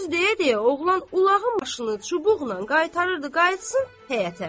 Bu sözü deyə-deyə oğlan ulağın başını çubuqla qaytarırdı qayıtsın həyətə.